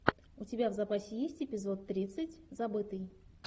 у тебя в запасе есть эпизод тридцать забытый